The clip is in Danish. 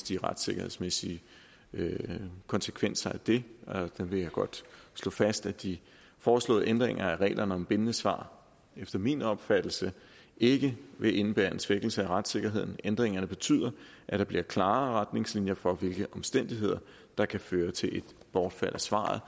de retssikkerhedsmæssige konsekvenser af det jeg vil godt slå fast at de foreslåede ændringer af reglerne om bindende svar efter min opfattelse ikke vil indebære en svækkelse af retssikkerheden ændringerne betyder at der bliver klarere retningslinjer for hvilke omstændigheder der kan føre til et bortfald af svaret